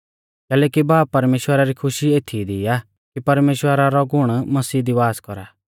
कैलैकि बाब परमेश्‍वरा री खुशी एथीई दी आ कि परमेश्‍वरा रौ गुण मसीह दी वास कौरा